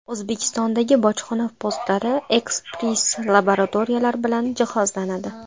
O‘zbekistondagi bojxona postlari ekspress-laboratoriyalar bilan jihozlanadi.